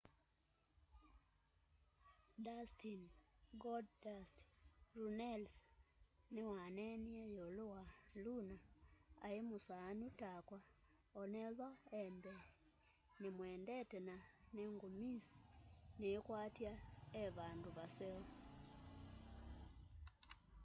dustin golddust” runnels niwaneeneie yiulu wa luna ai musaanu takwaonethwa e mbeenimwendete na ningumumisiniikwatya e vandu vaseo.